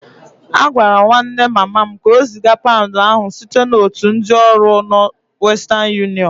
Agwara m nwanne mama m ka o ziga paụnd ahụ site n'otu ndị ọrụ ọ western unịọnụ